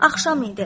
Axşam idi.